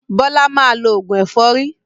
Bọ́lá máa lọ òògùn ẹ̀fọ́rí.